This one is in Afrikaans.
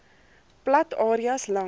plat areas langs